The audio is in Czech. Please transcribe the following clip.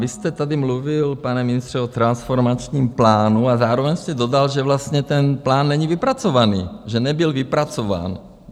Vy jste tady mluvil, pane ministře, o transformačním plánu a zároveň jste dodal, že vlastně ten plán není vypracovaný, že nebyl vypracován.